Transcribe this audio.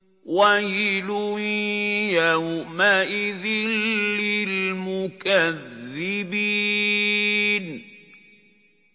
وَيْلٌ يَوْمَئِذٍ لِّلْمُكَذِّبِينَ